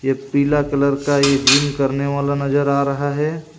यह पीला कलर का ये जिम करने वाला नजर आ रहा हे.